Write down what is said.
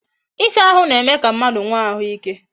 Ịsa ahụ na-eme ka mmadụ nwe ahụike